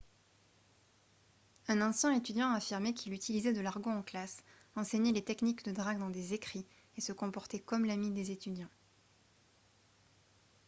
un ancien étudiant a affirmé qu’il « utilisait de l’argot en classe enseignait les techniques de drague dans des écrits et se comportait comme l’ami des étudiants »